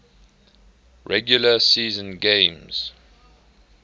regular season games